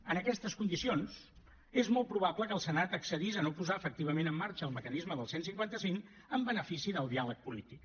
en aquestes condicions és molt probable que el senat accedís a no posar efectivament en marxa el mecanisme del cent i cinquanta cinc en benefici del diàleg polític